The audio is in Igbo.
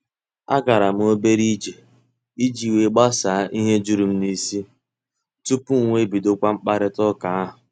A garam obere ije iji wee gbasaa ihe jụrụ m n'isi tupu m wee bidokwa mkparita ụka ahụ.